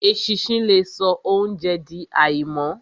Eṣinṣin le so óunjẹ di àìmọ́.